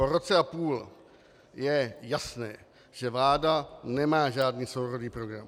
Po roce a půl je jasné, že vláda nemá žádný sourodý program.